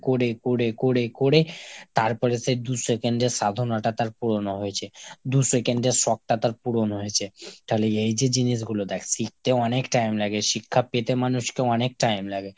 করে করে করে করে তারপর সে দু second এর সাধনাটা তার পূরণ হয়েছে, দু second এর শখটা তার পূরণ হয়েছে। তাহলে এই যে জিনিসগুলো দ্যাখ শিখতে অনেক time লাগে, শিক্ষা পেতে মানুষকে অনেক time লাগে।